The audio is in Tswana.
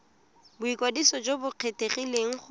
boikwadiso jo bo kgethegileng go